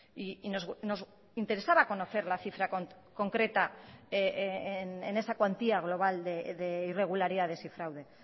y nos interesaba conocer la cifra concreta en esa cuantía global de irregularidades y fraude